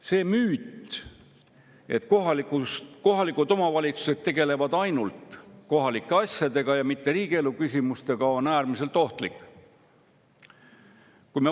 See müüt, et kohalikus omavalitsuses tegeldakse ainult kohalike asjadega ja mitte riigielu küsimustega, on äärmiselt ohtlik.